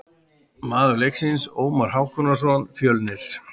Maður leiksins: Ómar Hákonarson, Fjölnir.